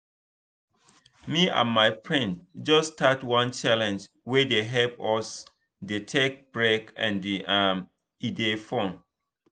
me and my friends just start one challenge wey dey help us dey take break and um e dey fun.